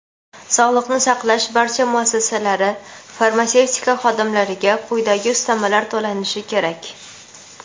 sog‘liqni saqlash barcha muassasalari farmatsevtika xodimlariga quyidagi ustamalar to‘lanishi kerak:.